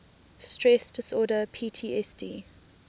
stress disorder ptsd